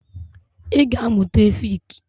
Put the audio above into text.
Ị ga amụta efik!